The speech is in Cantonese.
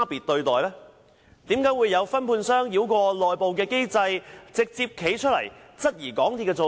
為何有分判商繞過內部機制，直接站出來質疑港鐵公司的做法？